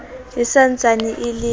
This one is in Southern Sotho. e sa ntsane e le